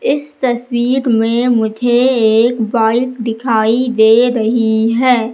इस तस्वीग में मुझे एक बाइक दिखाई दे रही है।